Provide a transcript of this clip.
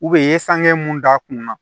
u ye sange mun d'a kun na